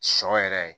Sɔ yɛrɛ